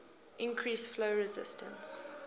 increase flow resistance